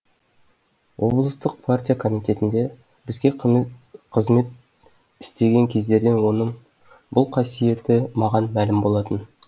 облыстық партия комитетінде бізге қызмет істеген кездерден оның бұл қасиеті маған мәлім болатын